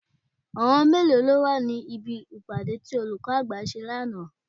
Àwọn mélòó lọ wà ní bí ìpàdé tí olùkọ́ àgbà ṣe lánàá?